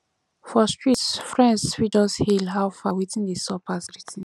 for street friends fit just hail how far wetin dey sup as greeting